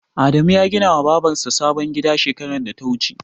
Adamu ya gina wa Babar sa sabon gida shekarar da ta wuce